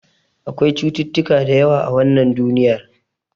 Akwai cututtuka da yawa a wannan duniyar.